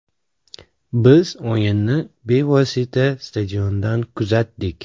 Biz o‘yinni bevosita stadiondan kuzatdik.